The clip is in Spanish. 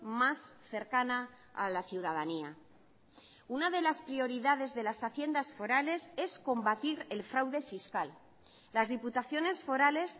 más cercana a la ciudadanía una de las prioridades de las haciendas forales es combatir el fraude fiscal las diputaciones forales